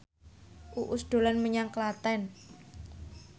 Uus dolan menyang Klaten